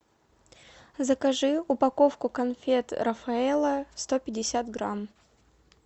закажи упаковку конфет рафаэлло сто пятьдесят грамм